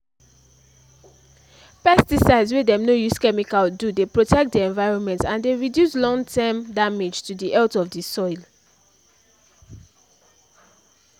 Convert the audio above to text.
pesticides wey dem no use chemicals do dey protect the environment and dey reduce lon-term damage to the health of the soil